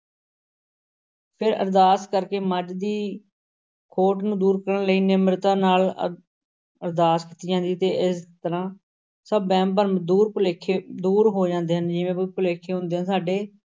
ਫਿਰ ਅਰਦਾਸ ਕਰ ਕੇ ਮੱਝ ਦੀ ਖੋਟ ਨੂੰ ਦੂਰ ਕਰਨ ਲਈ ਨਿਮਰਤਾ ਨਾਲ ਅਰ~ ਅਰਦਾਸ ਕੀਤੀ ਜਾਂਦੀ ਤੇ ਇਸ ਤਰ੍ਹਾਂ ਸਭ ਵਹਿਮ ਭਰਮ ਦੂਰ ਭੁਲੇਖੇ ਦੂਰ ਹੋ ਜਾਂਦੇ ਹਨ ਜਿਵੇਂ ਭੁਲੇਖੇ ਹੁੰਦੇ ਆ ਸਾਡੇ।